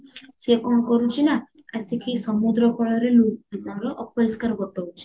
ସିଏ କଣ କରୁଛି ନା ଆସିକି ସମୁଦ୍ର କୂଳରେ ଲୁ କଣ ଅପରିଷ୍କାର ଗୋଟାଉଚି